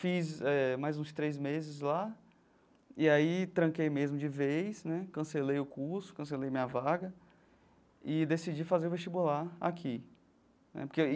Fiz eh mais uns três meses lá e aí tranquei mesmo de vez né, cancelei o curso, cancelei minha vaga e decidi fazer o vestibular aqui né porque aí.